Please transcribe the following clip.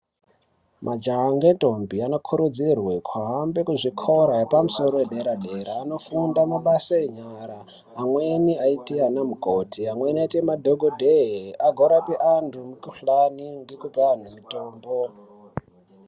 Majaha ngendombi anokurudzirwe kuhambe kuzvikora yepamusoro yederadera, vanofunda mabasa enyara. Amweni aite anamukoti, amweni aite madhokodheye, agorape antu mukhuhlani ngekupe antu mutombo.